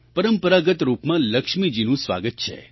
પરંપરાગત રૂપમાં લક્ષ્મીજીનું સ્વાગત છે